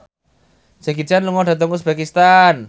Jackie Chan lunga dhateng uzbekistan